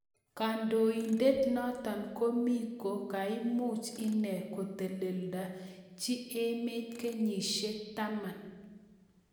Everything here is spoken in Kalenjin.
Kandoindet notok komi ko koimuch inee kuteledachi emet kenyishiek taman.